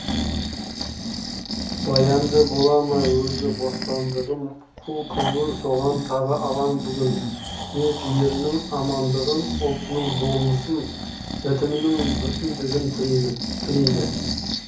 баянды бола ма өзі бостандығым қу көңіл соған тағы алаң бүгін деп елінің амандығын ұлтының болмыс бітімінің бүтіндігін тілейді